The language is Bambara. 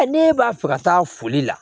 ne b'a fɛ ka taa foli la